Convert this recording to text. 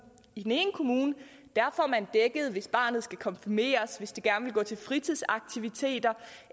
i den ene kommune får man dækket hvis barnet skal konfirmeres hvis det gerne vil gå til fritidsaktiviteter